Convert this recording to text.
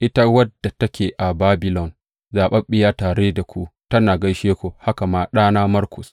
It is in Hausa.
Ita wadda take a Babilon, zaɓaɓɓiya tare da ku, tana gaishe ku, haka ma ɗana Markus.